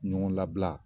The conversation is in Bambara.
Ɲɔgɔn labila